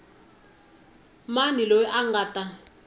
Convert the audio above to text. mani loyi a nga ta